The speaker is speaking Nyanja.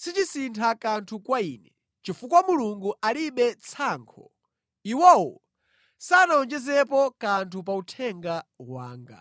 sichisintha kanthu kwa ine; chifukwa Mulungu alibe tsankho, iwowo sanawonjezepo kanthu pa uthenga wanga.